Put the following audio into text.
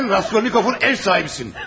Sən Raskolnikov'un ev sahibisisin!